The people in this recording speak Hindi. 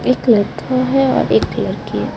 एक लड़का है और एक लरकी है ।